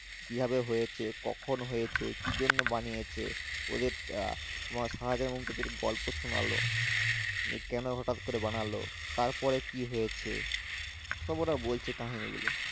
কিবাভে হয়েছে কখন হয়েছে কি জন্য বানিয়েছে ওদের আহ শাজাহান এর কিছু গল্প শুনালো কোনো এটা হটাৎ করে বানালো তারপরে কি হয়েছে সব ওরা বলছে কাহিনী গুলো।